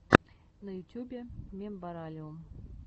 на ютюбе мембералиум